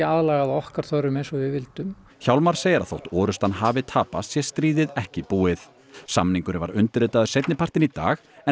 aðlagað að okkar þörfum eins og við vildum hjálmar segir að þótt orrustan hafi tapast sé stríðið ekki búið samningurinn var undirritaður seinni partinn í dag en